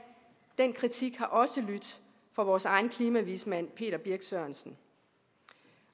den kritik har også lydt fra vores egen klimavismand peter birch sørensen